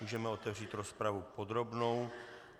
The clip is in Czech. Můžeme otevřít rozpravu podrobnou.